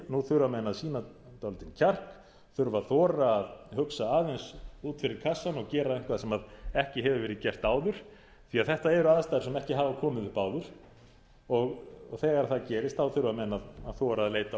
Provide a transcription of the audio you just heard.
nú þurfa menn að sýna dálítinn kjark þurfa að þora að hugsa aðeins út fyrir kassann og gera eitthvað sem ekki hefur verið gert áður því þetta eru aðstæður sem ekki hafa komið upp áður þegar það gerist þá þurfa menn að þora að leita